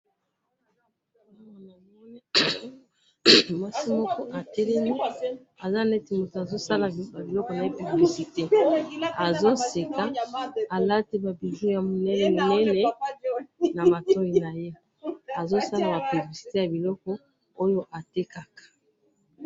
awa namoni mwasi moko atelemi azo seka aza lokola mutu neti azo sala publicite ya biloko atekaka